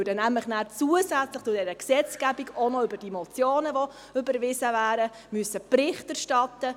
Dann würden wir nämlich zusätzlich zur Gesetzgebung auch über die überwiesenen Motionen Bericht erstatten.